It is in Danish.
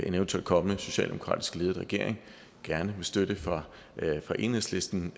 eventuel kommende socialdemokratisk ledet regering gerne med støtte fra enhedslisten